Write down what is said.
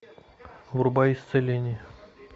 врубай исцеление